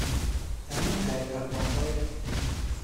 танюшей абдрахмановой